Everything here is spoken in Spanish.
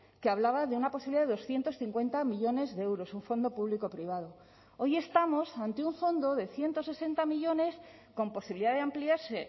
que hablaba de una posibilidad de doscientos cincuenta millónes de euros un fondo público privado hoy estamos ante un fondo de ciento sesenta millónes con posibilidad de ampliarse